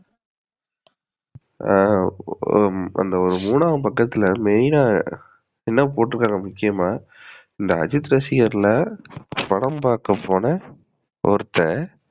ஆஹ் அந்த மூணாம் பக்கத்துல main ஆ என்ன போட்ருக்காங்க முக்கியமா இந்த அஜித் ரசிகர்ளாம் படம் பாக்க போன ஒருத்தன்